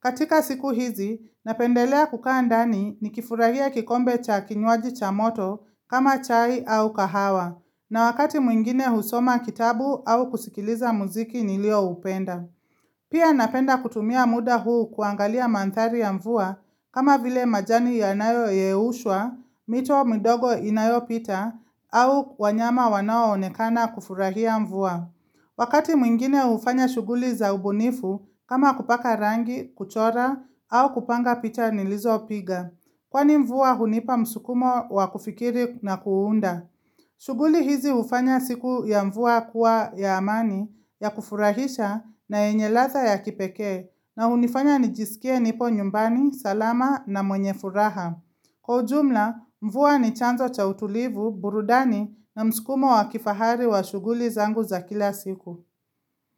Katika siku hizi, napendelea kukaa ndani nikifurahia kikombe cha kinywaji cha moto kama chai au kahawa. Na wakati mwingine husoma kitabu au kusikiliza muziki nilioupenda. Pia napenda kutumia muda huu kuangalia mandhari ya mvua kama vile majani yanayoyeyushwa, mito midogo inayopita, au wanyama wanaoonekana kufurahia mvua. Wakati mwingine hufanya shughuli za ubunifu kama kupaka rangi, kuchora, au kupanga picha nilizopiga. Kwani mvua hunipa msukumo wa kufikiri na kuunda. Shughuli hizi hufanya siku ya mvua kuwa ya amani ya kufurahisha na yenye ladha ya kipekee na hunifanya nijisikie nipo nyumbani salama na mwenye furaha. Kwa ujumla, mvua ni chanzo cha utulivu, burudani na mskumo wa kifahari wa shughuli zangu za kila siku.